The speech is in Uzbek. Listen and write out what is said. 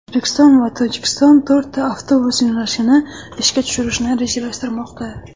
O‘zbekiston va Tojikiston to‘rtta avtobus yo‘nalishini ishga tushirishni rejalashtirmoqda.